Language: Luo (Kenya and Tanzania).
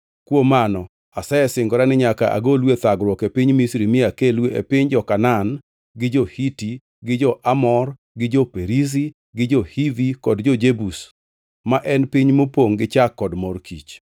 Kuom mano asesingora ni nyaka agolu e thagruok e piny Misri mi akelu e piny jo-Kanaan gi jo-Hiti gi jo-Amor gi jo-Perizi gi jo-Hivi kod jo-Jebus, ma en piny mopongʼ gi chak kod mor kich.’